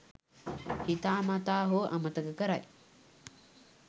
හිතා මතා හෝ අමතක කරයි.